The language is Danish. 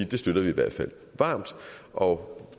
det støtter vi i hvert fald varmt og